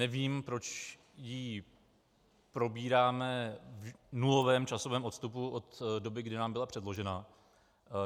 Nevím, proč ji probíráme v nulovém časovém odstupu od doby, kdy nám byla předložena.